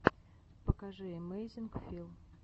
покажи эмэйзинг фил